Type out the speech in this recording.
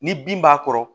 Ni bin b'a kɔrɔ